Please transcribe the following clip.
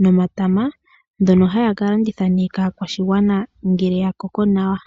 nomatama ngono haa kalanditha nee kaakwashigwana ngele yakoko nawa.